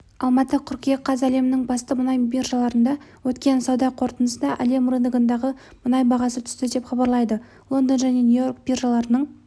алматы қыркүйек қаз әлемнің басты мұнай биржаларында өткен сауда қортындысында әлем рыногындағы мұнай бағасы түсті деп хабарлайды лондон және нью-йорк биржаларының